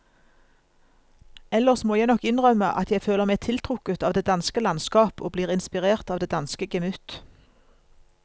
Ellers må jeg nok innrømme at jeg føler meg tiltrukket av det danske landskap og blir inspirert av det danske gemytt.